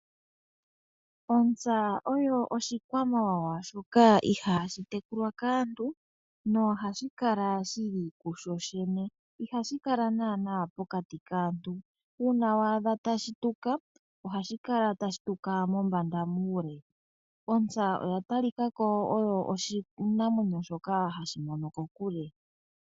Ontsa oyo oshikwamawawa shoka ihaa shi tekulwa kaantu no hashi kala shili ku shoshene, iha shi kala naanaa pokati kaantu, uuna waadha tashi tuka oha shi tuka mombanda muule, ontsa oya tali kako onga oshinamwenyo shoka hashi mono kokule.